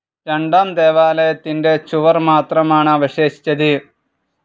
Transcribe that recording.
രണ്ടാം ദേവാലയത്തിന്റെ ചുവർ മാത്രമാണ് അവശേഷിച്ചത്.